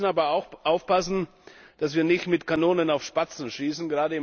Wir müssen aber auch aufpassen, dass wir nicht mit Kanonen auf Spatzen schießen.